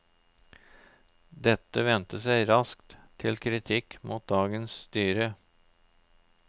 Dette vendte seg raskt til kritikk mot dagens styre.